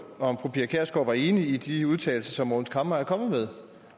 om fru pia kjærsgaard var enig i de udtalelser som mogens camre er kommet med